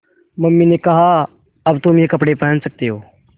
mummy ने कहा अब तुम ये कपड़े पहन सकते हो